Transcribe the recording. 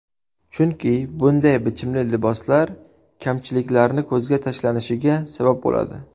Chunki bunday bichimli liboslar kamchiliklarni ko‘zga tashlanishiga sabab bo‘ladi.